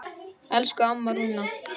Elsku amma Rúna.